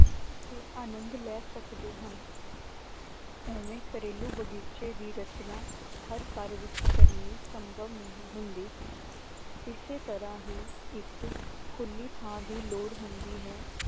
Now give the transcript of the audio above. ਅਤੇ ਆਨੰਦ ਲੈ ਸਕਦੇ ਹਨ ਉਵੇਂ ਘਰੇਲੂ ਬਗ਼ੀਚੇ ਦੀ ਰਚਨਾ ਹਰ ਘਰ ਵਿੱਚ ਕਰਨੀ ਸੰਭਵ ਨਹੀਂ ਹੁੰਦੀ ਇਸੇ ਤਰ੍ਹਾਂ ਹੀ ਇੱਕ ਖੁੱਲੀ ਥਾਂ ਦੀ ਲੋੜ ਹੁੰਦੀ ਹੈ